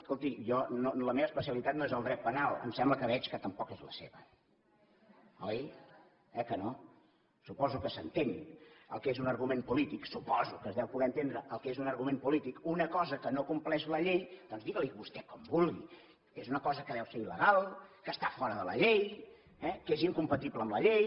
escolti jo la meva especialitat no és el dret penal em sembla que veig que tampoc és la seva oi s’entén el que és un argument polític suposo que es deu poder entendre el que és un argument polític una cosa que no compleix la llei doncs digui li vostè com vulgui és una cosa que deu ser il·legal que està fora de la llei eh que és incompatible amb la llei